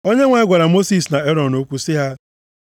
Onyenwe anyị gwara Mosis na Erọn okwu sị ha,